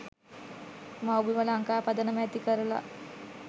මව්බිම ලංකා පදනම ඇති කරලා